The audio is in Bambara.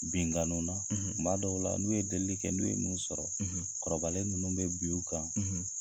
Binnkanni, , kuma dɔw la, n'u ye delili kɛ n'u ye mun sɔrɔ, , kɔrɔbalen ninnu bɛ bin u kan,